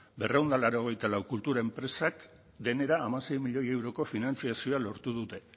berrehun eta laurogeita lau kultur enpresak denera hamasei milioi euroko finantzazioa lortu dute